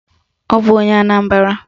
Ọ bụ onye Anambara.